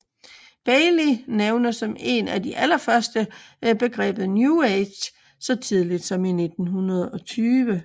Bailey nævner som en af de allerførste begrebet New Age så tidligt som 1920